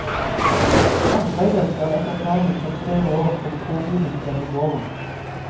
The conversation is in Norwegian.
Arbeidet skal etter planen ta tre år og påbegynnes denne våren.